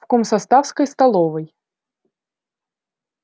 в комсоставской столовой